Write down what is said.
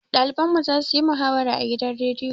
Ɗaliban mu za su yi muhawara a gidan rediyo.